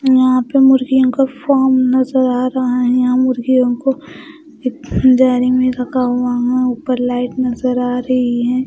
यहां पे मुर्गियों का फोम नजर आ रहा है यहां मुर्गियों को एक दायरे में रखा हुआ है ऊपर लाइट नजर आ रही हैं।